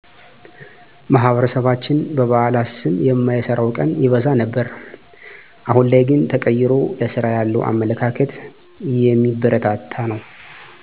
ማህበረሰባችን በበአላት ስም የማይሰራው ቀን ይበዛ ነበር አሁን ላይ ግን ተቀይሮ ለስራ ያለው አመለካከት የሚበረታታ ነው